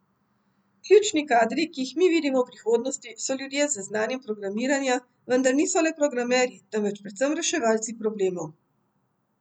Ključni kadri, ki jih mi vidimo v prihodnosti, so ljudje z znanjem programiranja, vendar niso le programerji, temveč predvsem reševalci problemov.